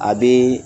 A bɛ